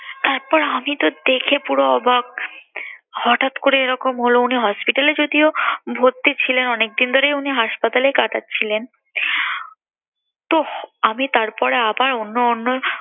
তারপর আমি তো দেখে পুরো অবাক হঠাৎ করে এরকম হলো, উনি hospital যদিও ভর্তি ছিলেন অনেকদিন ধরেই উনি হাসপাতালে কাটাচ্ছিলেন। তোহ আমি তারপরে আবার অন্য অন্য